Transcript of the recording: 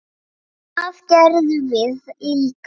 Það gerðum við líka.